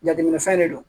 Jateminɛfɛn de don